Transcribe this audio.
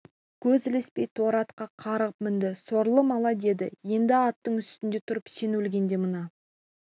көз ілеспей торы атқа қарғып мінді сорлы малай деді енді аттың үстінде тұрып сен өлгенде мына